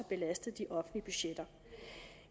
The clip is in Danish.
belastet de offentlige budgetter